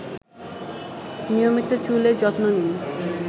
নিয়মিত চুলের যত্ন নিন